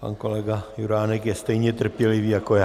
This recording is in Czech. Pan kolega Juránek je stejně trpělivý jako já.